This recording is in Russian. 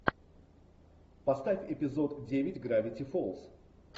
поставь эпизод девять гравити фолз